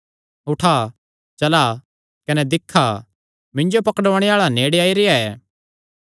उठा चला कने दिक्खा मिन्जो पकड़ुआणे आल़ा नेड़े आई रेह्आ ऐ